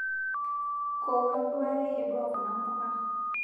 Kowuon duaake edua kuna mpuka